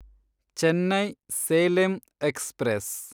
Chennai Salem express